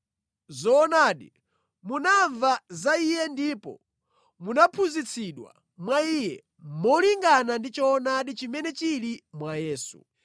Zoonadi munamva za Iye ndipo munaphunzitsidwa mwa Iye molingana ndi choonadi chimene chili mwa Yesu.